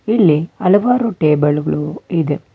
ಇಲ್ಲಿ ಹಲವಾರು ಟೇಬಲ್ ಗಳು ಇದೆ.